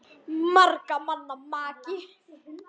SOPHUS: Margra manna maki!